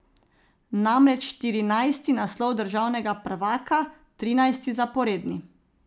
Namreč štirinajsti naslov državnega prvaka, trinajsti zaporedni.